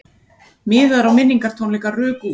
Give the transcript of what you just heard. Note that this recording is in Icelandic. Miðar á minningartónleika ruku út